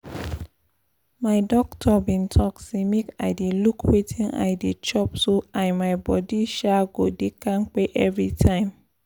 my doctor been talk say make i dey look wetin i dey chop so i my body um go dey kampe every time